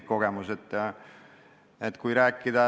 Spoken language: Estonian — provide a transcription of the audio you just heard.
See on minu isiklik kogemus.